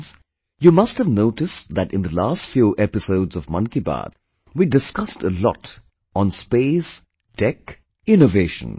Friends, you must have noticed that in the last few episodes of 'Mann Ki Baat', we discussed a lot on Space, Tech, Innovation